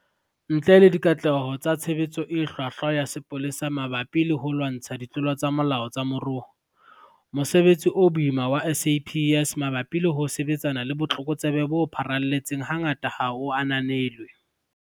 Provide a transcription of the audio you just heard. Ntle le dikatleho tsa tshebetso e hlwahlwa ya sepolesa mabapi le ho lwantsha ditlolo tsa molao tsa moruo, mosebetsi o boima wa SAPS mabapi le ho sebetsana le botlokotsebe bo pharalletseng hangata ha o ananelwe.